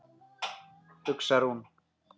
hugsar hún.